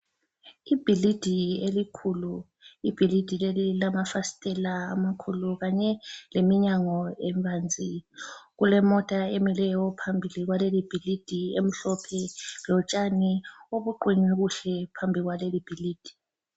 Ibhilidi elikhulu ,ibhilidi leli lilamafasithela amakhulu kanye leminyango ebanzi. Kulemota emileyo phambili kwalelibhilidi emhlophe, lotshani obuqunywe kuhle phambili kwaleli bhilidi.